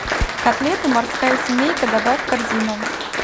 котлеты морская семейка добавь в корзину